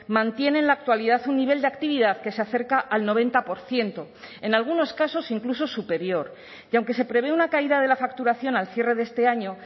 mantiene en la actualidad un nivel de actividad que se acerca al noventa por ciento en algunos casos incluso superior y aunque se prevé una caída de la facturación al cierre de este año